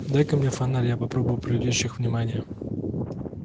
дай-ка мне фонарь я попробую привлечь их внимание